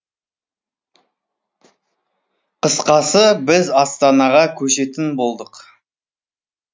қысқасы біз астанаға көшетін болдық